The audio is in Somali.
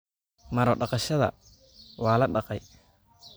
Maro-dhaqashada waa la dhaqay